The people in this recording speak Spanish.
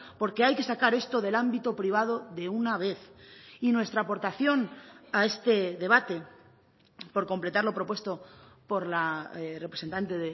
porque hay que sacar esto del ámbito privado de una vez y nuestra aportación a este debate por completar lo propuesto por la representante